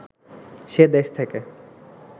সে দেশ থেকে